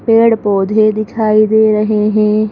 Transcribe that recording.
पेड़-पौधे दिखाई दे रहे हैं।